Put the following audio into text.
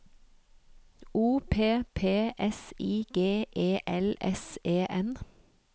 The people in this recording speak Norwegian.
O P P S I G E L S E N